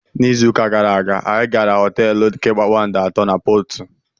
N'izu ụka gara aga, anyị gara họteelu nke kpakpando atọ na Portu.